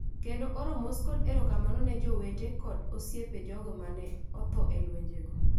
kendo oro mos kod erokamano ne jowete kod osiepe jogo ma ne otho e lwenjego.